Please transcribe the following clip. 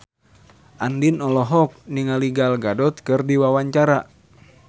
Andien olohok ningali Gal Gadot keur diwawancara